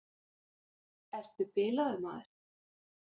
Ertu bilaður, maður!